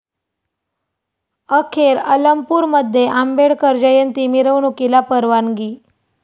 अखेर अलमपूरमध्ये आंबेडकर जयंती मिरवणुकीला परवानगी